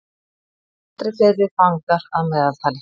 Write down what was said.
Aldrei fleiri fangar að meðaltali